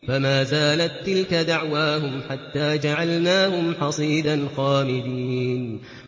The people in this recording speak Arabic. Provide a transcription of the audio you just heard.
فَمَا زَالَت تِّلْكَ دَعْوَاهُمْ حَتَّىٰ جَعَلْنَاهُمْ حَصِيدًا خَامِدِينَ